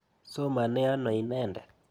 Somane ano inendet?